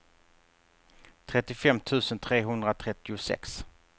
trettiofem tusen trehundratrettiosex